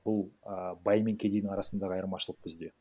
бұл а бай мен кедейдің арасындағы айырмашылық бізде